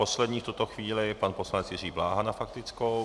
Poslední v tuto chvíli pan poslanec Jiří Bláha na faktickou.